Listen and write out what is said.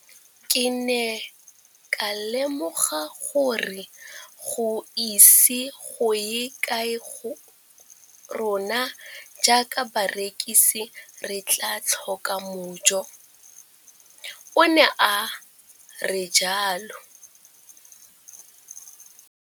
Ke ne ka lemoga gore go ise go ye kae rona jaaka barekise re tla tlhoka mojo, o ne a re jalo.